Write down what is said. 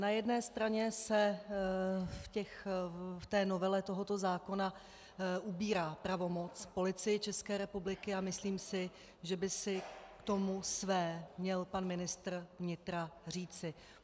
Na jedné straně se v té novele tohoto zákona ubírá pravomoc Policii České republiky a myslím si, že by si k tomu měl své pan ministr vnitra říci.